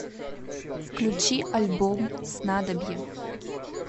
включи альбом снадобье